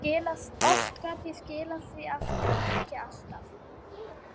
Oft gat ég skilað því aftur en ekki alltaf.